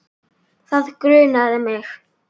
Það grunaði mig.